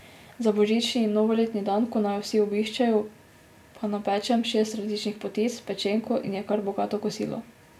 Za božični in novoletni dan, ko naju vsi obiščejo, pa napečem šest različnih potic, pečenko in je kar bogato kosilo.